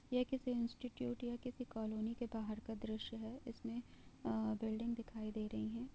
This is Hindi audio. ये किसी इंस्टिट्यूट या किसी कॉलोनी के बाहर का दृश्य है इसमे अ बिल्डिंग दिखाई दे रही है।